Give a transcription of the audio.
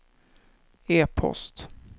e-post